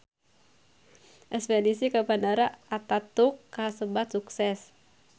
Espedisi ka Bandara Ataturk kasebat sukses